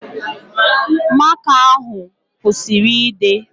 Maka ahụ kwụsịrị ịde